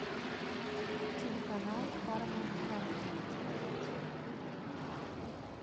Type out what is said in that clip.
телеканал парамаунт камеди смотреть